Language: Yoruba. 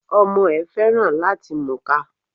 Ọmọ ẹ̀ féràn làti múka.